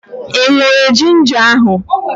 Ị ṅụrụ ginja ahụ?